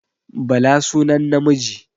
Bala sunan namiji